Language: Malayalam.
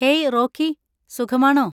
Hey, Rocky. സുഖമാണോ?